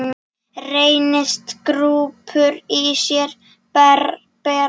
Reynist grúppur í sér bera.